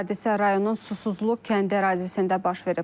Hadisə rayonun susuzluq kəndi ərazisində baş verib.